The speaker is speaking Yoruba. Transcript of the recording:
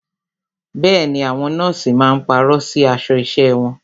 Bẹẹni, àwọn nọ́ọ̀sì máa pàrọ̀ sí aṣọ isẹ wọn.